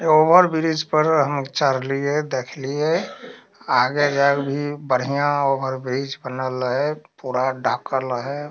Over bridge पर हम चढ़लिए देखलिये आगे जाय के भी बढ़िया ओवर ब्रिज बनल हेय पूरा ढ़कल हेय।